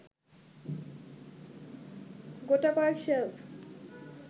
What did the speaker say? গোটাকয়েক shelf